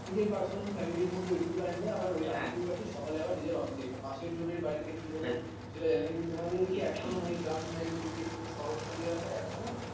নিজের personal family র মধ্যে ওইটুকু time দেয় আবার কাটিয়ে টাটিয়ে সকালে যে যার অফিস এ পাশের জনের বাড়িতে কি হলো সেটা জানে না কিন্তু তোমাদের ওদিকে এখনো মানে গ্রাম side দিকে একটু শহরতলী এলাকায় এখনোও